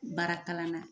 Baara kalan na